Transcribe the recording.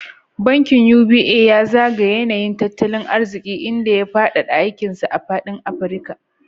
Bankin UBA ya zagaya yanayin tattalin arziki, inda ya faɗaɗa aikin sa a faɗin Afirka.